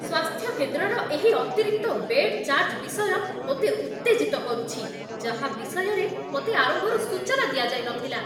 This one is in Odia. ସ୍ୱାସ୍ଥ୍ୟ କେନ୍ଦ୍ରର ଏହି ଅତିରିକ୍ତ ବେଡ୍ ଚାର୍ଜ ବିଷୟ ମୋତେ ଉତ୍ତେଜିତ କରୁଛି, ଯାହା ବିଷୟରେ ମୋତେ ଆରମ୍ଭରୁ ସୂଚନା ଦିଆଯାଇ ନଥିଲା।